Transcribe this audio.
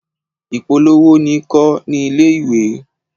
Ìpolówó ni kọ́ ní ilé-ìwé.